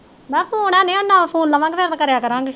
ਨਵਾਂ ਫੋਨ ਲਵਾਂਗੇ ਫਿਰ ਮੈ ਕਰਿਆ ਕਰਾਂਗੇ